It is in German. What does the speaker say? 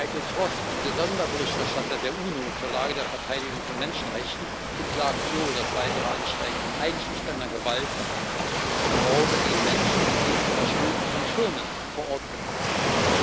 Michael Frost, der Sonderberichterstatter der UNO zur Lage der Verteidigung von Menschenrechten, beklagt so das weitere Ansteigen von einschüchternder Gewalt und Morden gegen Menschen, die gegen Verstöße von Firmen vor Ort protestieren.